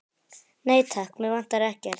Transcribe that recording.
Nei, takk, mig vantar ekkert.